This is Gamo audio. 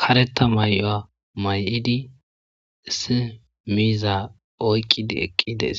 Karetta mayuwa mayidi, issi miizza oyqqidi eqqi des,